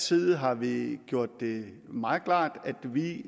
side har vi gjort det meget klart at vi